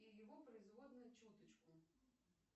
и его производные чуточку